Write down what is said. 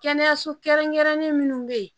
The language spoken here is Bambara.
Kɛnɛyaso kɛrɛnkɛrɛnnen minnu bɛ yen